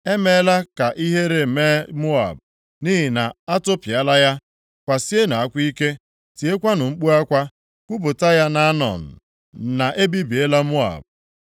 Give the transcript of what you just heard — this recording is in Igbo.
E meela ka ihere mee Moab, nʼihi na a tụpịala ya. Kwasienụ akwa ike, tiekwanụ mkpu akwa. Kwupụta ya nʼAnọn na e bibiela Moab.